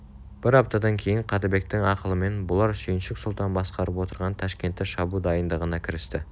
бір аптадан кейін қаттыбектің ақылымен бұлар сүйіншік сұлтан басқарып отырған ташкентті шабу дайындығына кірісті